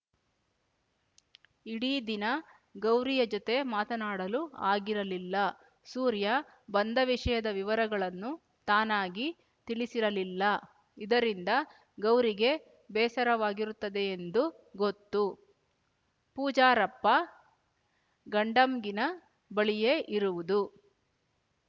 ಇಡೀ ದಿನ ಗೌರಿಯ ಜೊತೆ ಮಾತನಾಡಲು ಆಗಿರಲಿಲ್ಲ ಸೂರ್ಯ ಬಂದ ವಿಷಯದ ವಿವರಗಳನ್ನು ತಾನಾಗಿ ತಿಳಿಸಿರಲಿಲ್ಲ ಇದರಿಂದ ಗೌರಿಗೆ ಬೇಸರವಾಗಿರುತ್ತದೆಯೆಂದು ಗೊತ್ತು ಪೂಜರಪ್ಪ ಗಡಂಗಿನ ಬಳಿಯೇ ಇರುವುದು